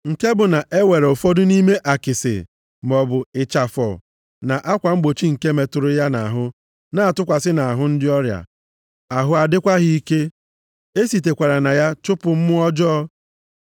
Nke bụ na-ewere ụfọdụ nʼime akịsị maọbụ ịchafọ na akwa mgbochi nke metụrụ ya nʼahụ na-atụkwasị nʼahụ ndị ọrịa, ahụ a dịkwa ha ike. E sitekwara na ya chụpụ mmụọ ọjọọ.